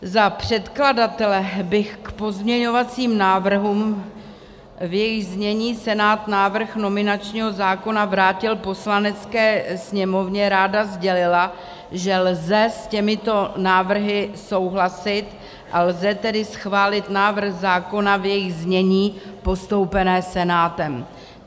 Za předkladatele bych k pozměňovacím návrhům, v jejich znění Senát návrh nominačního zákona vrátil Poslanecké sněmovně, ráda sdělila, že lze s těmito návrhy souhlasit, a lze tedy schválit návrh zákona v jejich znění postoupeném Senátem.